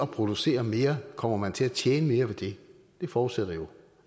producere mere kommer til at tjene mere det forudsætter jo